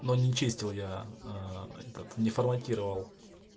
но не чистил я ээ этот не форматировал